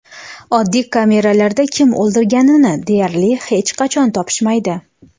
Oddiy kamerada kim o‘ldirganini deyarli hech qachon topishmaydi.